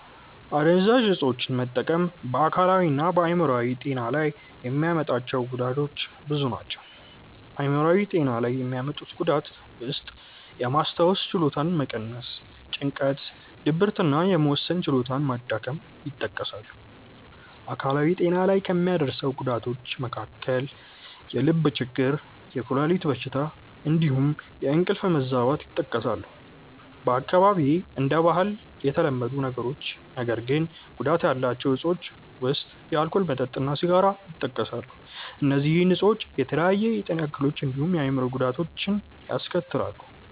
አደንዛዥ እፆችን መጠቀም በ አካላዊ እና በ አይምሮአዊ ጤና ላይ የሚያመጣቸው ጉዳቶች ብዙ ናቸው። አይምሯዊ ጤና ላይ የሚያመጡት ጉዳት ውስጥየማስታወስ ችሎታን መቀነስ፣ ጭንቀት፣ ድብርት እና የመወሰን ችሎታ መዳከም ይጠቀሳሉ። አካላዊ ጤና ላይ ከሚያደርሰው ጉዳቶች መካከል የልብ ችግር፣ የኩላሊት በሽታ እንዲሁም የእንቅልፍ መዛባት ይጠቀሳሉ። በአካባቢዬ እንደ ባህል የተለመዱ ነገር ግን ጉዳት ያላቸው እፆች ውስጥ የአልኮል መጠጥ እና ሲጋራ ይጠቀሳሉ። እነዚህ እፆች የተለያዩ የጤና እክሎችን እንዲሁም የአእምሮ ጉዳቶችን ያስከትላሉ።